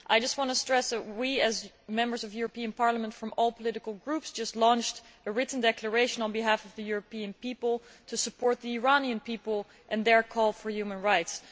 I just want to stress that we, as Members of the European Parliament from all political groups, have just launched a written declaration on behalf of the European people to support the Iranian people and their call for human rights.